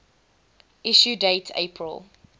issue date april